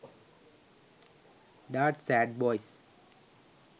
dard sad boys